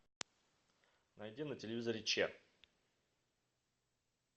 найди на телевизоре че